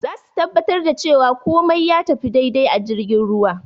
Zasu tabbatar da cewa kumai ya tafi dai-dai a jirgin ruwa